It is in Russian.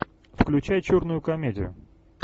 включай черную комедию